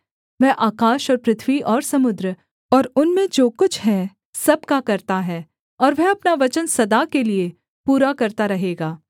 वह आकाश और पृथ्वी और समुद्र और उनमें जो कुछ है सब का कर्ता है और वह अपना वचन सदा के लिये पूरा करता रहेगा